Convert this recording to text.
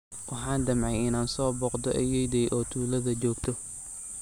Waxaan damcay inaan soo booqdo ayeeyday oo tuulada joogta.